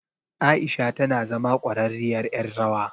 Aisha tana zama ƙwararriyar ƴar rawa.